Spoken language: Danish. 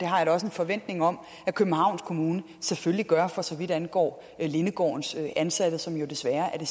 har jeg da også en forventning om at københavns kommune selvfølgelig gør for så vidt angår lindegårdens ansatte som jo desværre er